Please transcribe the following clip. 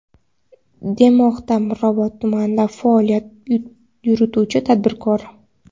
demoqda Mirobod tumanida faoliyat yurituvchi tadbirkor.